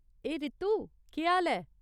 ए रितु, केह् हाल ऐ?